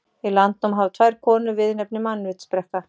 Í Landnámu hafa tvær konur viðurnefnið mannvitsbrekka.